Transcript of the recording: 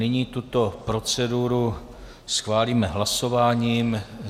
Nyní tuto proceduru schválíme hlasováním.